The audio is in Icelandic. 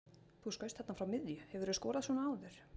Þú skaust þarna frá miðju, hefurðu skorað svona áður?